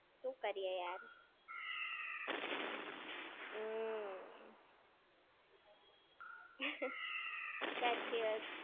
શું કરીયે યાર. હમ્મ. સાચી વાત છે.